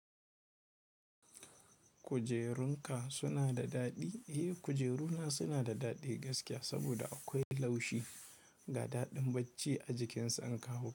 Kujerunka suna da daɗi? Eh, kujeru na suna da daɗi gaskiya saboda akwai laushi ga daɗin bacci a jikinsa in kawo.